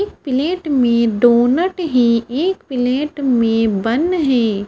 एक प्लेट में डोनट है एक प्लेट बन है।